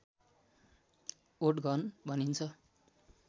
ओटघन भनिन्छ